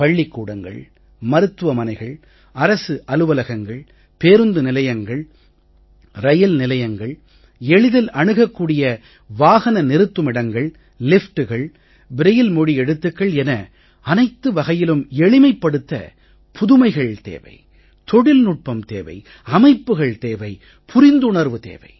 பள்ளிக்கூடங்கள் மருத்துவமனைகள் அரசு அலுவலகங்கள் பேருந்து நிலையங்கள் ரயில் நிலையங்கள் எளிதில் அணுகக் கூடிய வாகன நிறுத்துமிடங்கள் லிஃப்டுகள் ப்ரயில் மொழி எழுத்துக்கள் என அனைத்து வகையிலும் எளிமைப்படுத்த புதுமைகள் தேவை தொழில்நுட்பம் தேவை அமைப்புகள் தேவை புரிந்துணர்வு தேவை